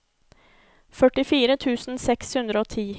førtifire tusen seks hundre og ti